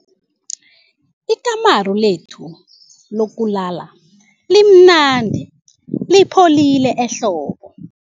Ikamuru lethu lokulala limnandi lipholile ehlobo.